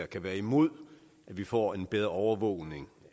kan være imod at vi får en bedre overvågning